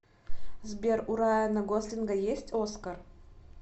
сбер у райана гослинга есть оскар